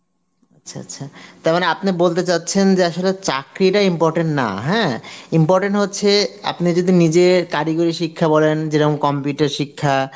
আচ্ছা আচ্ছা, তা মানে আপনে বলতে চাচ্ছেন যে আসলে চাকরি টা important না হ্যাঁ, important হচ্ছে আপনি যদি নিজে কারিগরি শিক্ষা বলেন যেরম computer শিক্ষা